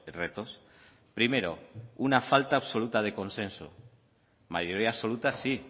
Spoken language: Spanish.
retos primero una falta absoluta de consenso mayoría absoluta sí